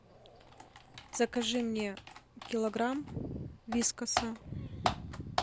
закажи мне килограмм вискаса